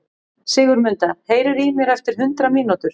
Sigurmunda, heyrðu í mér eftir hundrað mínútur.